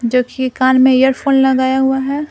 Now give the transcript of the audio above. जो कि कान में ईयरफोन लगाया हुआ है।